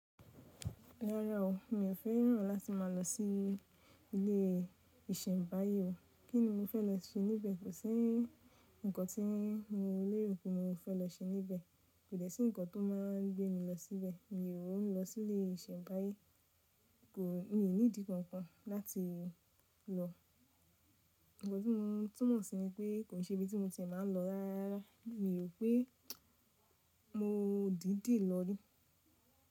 Rárá o, mi ò fẹ́ràn láti máa lọ sí ilé ìsẹ̀mbáyé o. Kí ni mo fẹ́ lọ ṣe níbẹ̀? Kò sí ǹkan tí mo lérò pé mo fẹ́ lọ ṣe níbẹ̀. Kò dẹ́ ṣì ǹkan tó máa gbé mi lọ síbẹ̀. Mi ò ní lọ sí ilé ìsẹ̀mbáyé. Mi ò ní ìdí kankan láti lọ. Ǹkan tí mo túmọ̀ sí ni pé kò ṣe ibi tí mo ti máa ń lọ rárá. Mi ò ró pé mo dìdì lọ yìí.